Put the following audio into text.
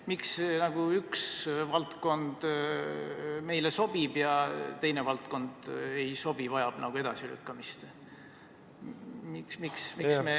Miks üks valdkond meile sobib ja teine valdkond ei sobi, vajab edasilükkamist?